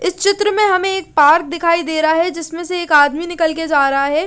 इस चित्र मे हमे एक पार्क दिखाई दे रहा है जिसमे से एक आदमी निकल के जा रहा है ।